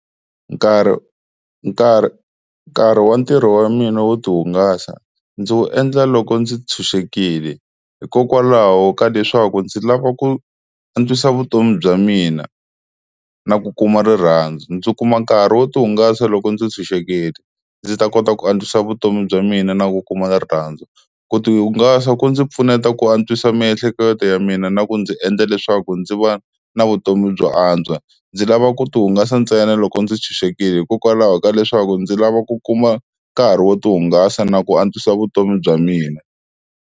Nkarhi nkarhi nkarhi wa ntirho wa mina wo ti hungasa ndzi wu endla loko ndzi tshunxekile hikokwalaho ka leswaku ndzi lava ku antswisa vutomi bya mina na ku kuma rirhandzu, ndzi kuma nkarhi wo ti hungasa loko ndzi tshunxekile ndzi ta kota ku antswisa vutomi bya mina na ku kuma rirhandzu, ku ti hungasa ku ndzi pfuneta ku antswisa miehleketo ya mina na ku ndzi endla leswaku ndzi va na vutomi byo antswa, ndzi lava ku ti hungasa ntsena loko ndzi tshunxekile hikokwalaho ka leswaku ndzi lava ku kuma nkarhi wo ti hungasa na ku antswisa vutomi bya mina.